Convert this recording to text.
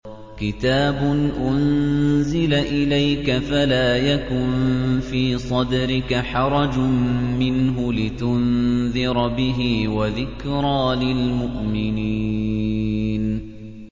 كِتَابٌ أُنزِلَ إِلَيْكَ فَلَا يَكُن فِي صَدْرِكَ حَرَجٌ مِّنْهُ لِتُنذِرَ بِهِ وَذِكْرَىٰ لِلْمُؤْمِنِينَ